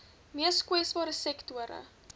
mees kwesbare sektore